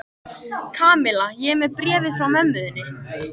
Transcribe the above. Kamilla, ég er með bréfið frá mömmu þinni.